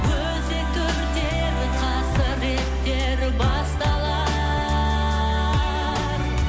өзекті өртер қасіреттер басталар